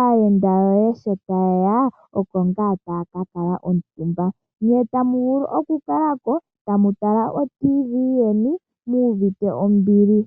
aayenda yoye sho ta ye ya oko ngaa taya ka kala omutumba. Ne tamu vulu oku kala ko tamu tala otv yeni muuvite ombili.